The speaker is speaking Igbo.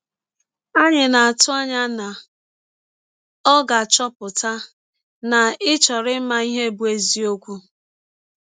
Anyị na - atụ anya na ọ ga - achọpụta na ị chọrọ ịma nke bụ́ eziọkwụ!